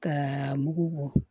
Ka mugu bɔ